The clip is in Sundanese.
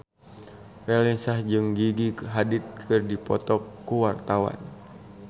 Raline Shah jeung Gigi Hadid keur dipoto ku wartawan